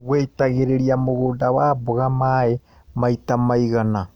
Wĩitagĩrĩria mũgũnda wa mboga maĩ maita maigana.